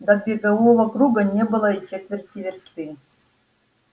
до бегового круга не было и четверти версты